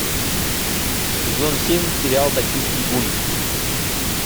сезон семь сериал токийский гуль